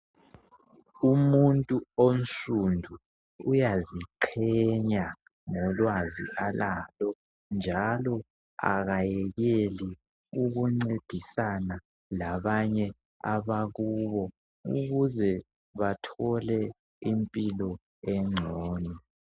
Umuntu onsundu uyaziqhenya ngolwazi alalo njalo akayekeli ukuncedisana labanye abakubo ukuze bathole impilo engcono.